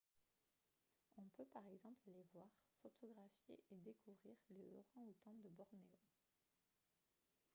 on peut par exemple aller voir photographier et découvrir les orang-outans de bornéo